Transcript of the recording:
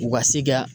U ka se ka